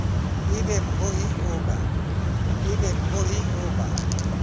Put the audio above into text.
e be mmohi o ba